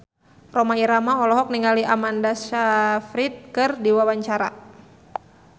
Rhoma Irama olohok ningali Amanda Sayfried keur diwawancara